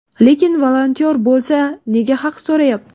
Lekin volontyor bo‘lsa, nega haq so‘rayapti?